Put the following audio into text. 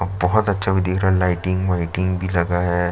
बहुत अच्छा भी दिख रहा है लाइटिंग व्हाइटिंग भी लगा है।